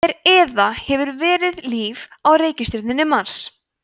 er eða hefur verið líf á reikistjörnunni mars